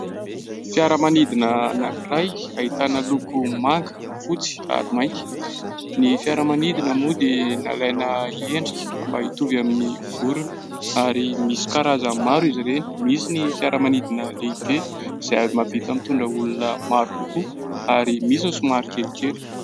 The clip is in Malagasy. Fiaramanidina anankiray ahitana loko manga fotsy ary mainty. Ny fiaramanidina moa dia nalaina endrika mba hitovy amin'ny vorona ary misy karazany maro izy ireny. Misy ny fiaramanidina lehibe izay mahavita mitondra olona maro kokoa ary misy koa somary kelikely.